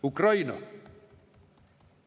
Ukraina.